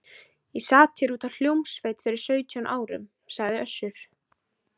Ég sat hér út af hljómsveit fyrir sautján árum, sagði Össur.